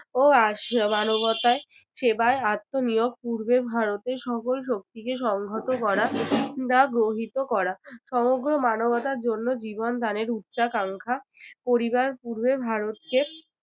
ও আসছে মানবতায় সেবায় আত্মনিয়োগ পূর্বে ভারতের সকল শক্তিকে সংহত করা বা গ্রহিত করা সমগ্র মানবতার জন্য জীবন দানের উচ্চাকাঙ্খা করিবার পূর্বের ভারতকে